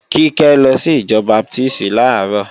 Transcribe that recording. Kíkẹ́ lọ sí ìjọ Baptísì làárọ̀